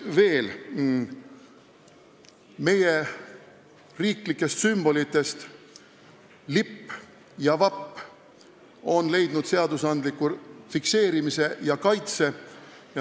Meie riiklikest sümbolitest on lipp ja vapp seaduses fikseeritud ja kaitset leidnud.